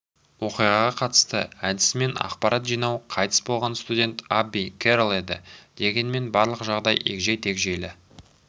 оқиғаға қатысты әдісімен ақпарат жинау қайтыс болған студент абби керрол еді дегенмен болған жайды егжей-тегжейлі